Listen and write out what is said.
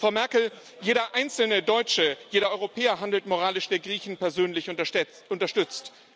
Frau Merkel, jeder einzelne Deutsche, jeder Europäer handelt moralisch, wenn er Griechen persönlich unterstützt.